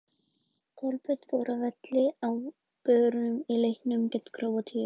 Kolbeinn fór af velli á börum í leiknum gegn Króatíu í gær.